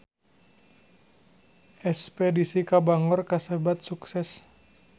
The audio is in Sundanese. Espedisi ka Bangor kasebat sukses